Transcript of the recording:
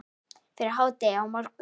Fyrir hádegi á morgun.